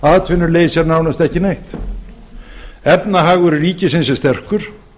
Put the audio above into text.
atvinnuleysi er nánast ekki neitt efnahagur ríkisins er sterkur